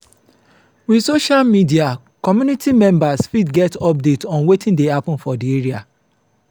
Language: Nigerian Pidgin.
with social media community members fit get update on wetin dey happen for di area